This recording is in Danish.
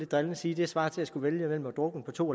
drillende sige svarer til at skulle vælge mellem at drukne på to